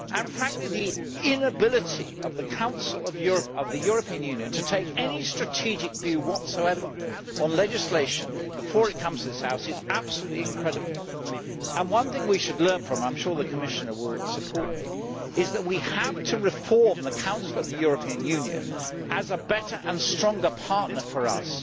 Frankly, the inability of the Council of the European Union to take any strategic view whatsoever on legislation before it comes to this House is absolutely incredible. One thing we should learn from this and I am sure the Commissioner will support me is that we have to reform the Council of the European Union as a better and stronger partner for us